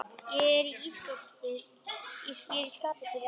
Ég er í skapi til að elska!